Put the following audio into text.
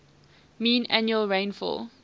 mean annual rainfall